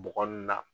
Bɔgɔ nun na